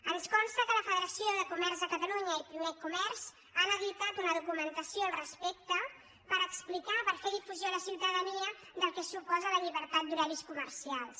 ens consta que la federació de comerç de catalunya i pimec comerç han editat una documentació al respecte per explicar per fer difusió a la ciutadania del que suposa la llibertat d’horaris comercials